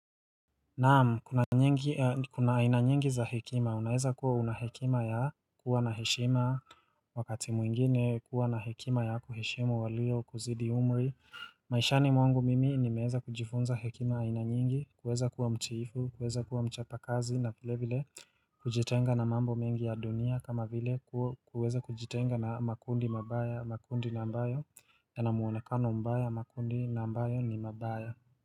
Naam kuna aina nyingi za hekima unaeza kuwa una hekima ya kuwa na heshima wakati mwingine kuwa na hekima ya kuheshimu walio kuzidi umri maishani mwangu mimi ni meweza kujifunza hekima aina nyingi kuweza kuwa mtiifu kuweza kuwa mchapa kazi na vile vile kujitenga na mambo mengi ya dunia kama vile kuweza kujitenga na makundi nambayo ya na muonekano mbaya makundi nambayo ni mabaya.